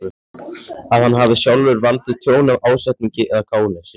að hann hafi sjálfur valdið tjóni af ásetningi eða gáleysi.